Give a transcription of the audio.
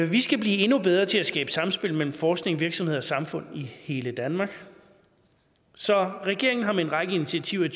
vi skal blive endnu bedre til at skabe samspil mellem forskning virksomheder og samfundet i hele danmark så regeringen har med en række initiativer i